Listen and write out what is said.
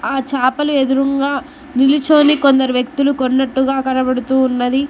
ఆ చాపలు ఎదురుంగా నిలుచోని కొందరు వ్యక్తులు కొన్నట్టుగా కనబడుతూ ఉన్నది.